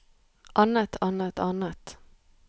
annet annet annet